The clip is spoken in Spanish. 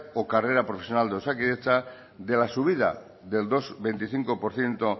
o carrera profesional de osakidetza de la subida del dos coma veinticinco por ciento